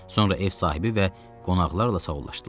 Sonra ev sahibi və qonaqlarla sağollaşdılar.